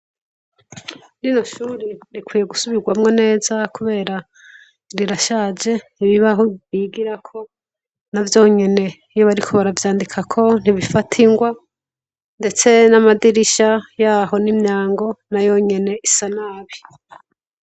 Rino shuri rikwiye gisubirwamwo neza kubera rirashaje, ibibaho bigirako navyo nyene iyo bariko baravyandikako ntibifata ingwa, ndetse n'amadirisha yaho n'imyango nayo nyene isa nabi.